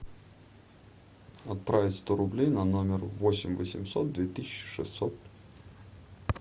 отправить сто рублей на номер восемь восемьсот две тысячи шестьсот